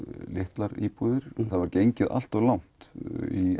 litlar íbúðir það var gengið allt of langt í